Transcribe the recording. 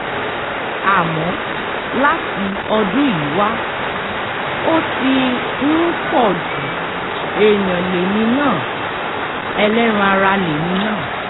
àmọ́ láti ọdún yìí wà ó ti um ń pọ̀ ju èèyàn lèmi náà um ẹlẹ́ran ara lèmi náà